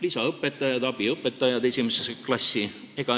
Lisaõpetajad, abiõpetajad esimesse klassi.